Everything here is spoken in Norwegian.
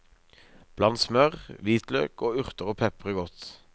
Bland smør, hvitløk og urter og pepre godt.